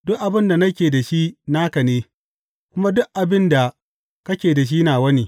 Duk abin da nake da shi naka ne, kuma duk abin da kake da shi nawa ne.